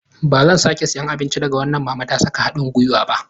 Ba zan sake siyan abinci daga wannan mama ta saka hadin gwiwa ba.